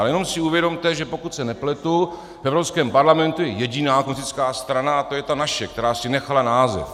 Ale jenom si uvědomte, že pokud se nepletu, v Evropském parlamentu je jediná komunistická strana, a to je ta naše, která si nechala název.